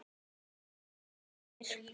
þar sem gildir